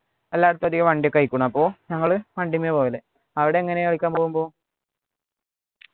എല്ലാടത്തും അധികം വണ്ടിയൊക്കെ ആക്കീക്കുണു പ്പോ ഞങ്ങള് വണ്ടിമേലാ പോകല് അവിടെ എങ്ങനെയാ കളിയ്ക്കാൻ പോകുമ്പോ